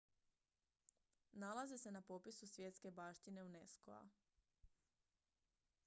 nalaze se na popisu svjetske baštine unesco-a